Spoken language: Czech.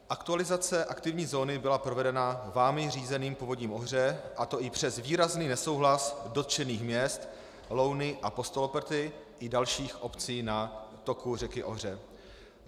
Aktualizace aktivní zóny byla provedena vámi řízeným Povodím Ohře, a to i přes výrazný nesouhlas dotčených měst Louny a Postoloprty i dalších obcí na toku řeky Ohře.